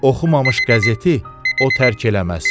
Oxumamış qəzeti o tərk eləməz.